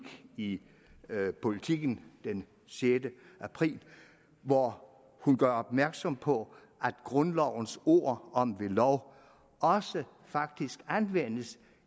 i politiken den sjette april hvor hun gør opmærksom på at grundlovens ord om ved lov faktisk anvendes